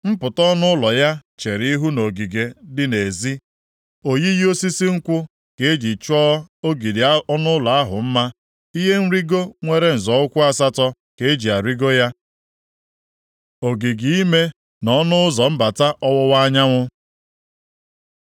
Mpụta ọnụ ụlọ ya chere ihu nʼogige dị nʼezi, oyiyi osisi nkwụ ka eji chọọ ogidi ọnụ ụlọ ahụ mma, ihe nrigo nwere nzọ ụkwụ asatọ ka eji arịgo ya. Ogige ime na ọnụ ụzọ mbata ọwụwa anyanwụ